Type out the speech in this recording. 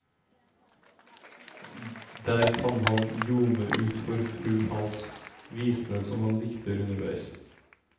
Der kan han ljome ut for full hals, visene som han dikter underveis.